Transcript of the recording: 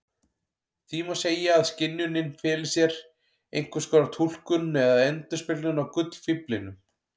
Því má segja að skynjunin feli í sér einskonar túlkun eða endurspeglun á gullfíflinum.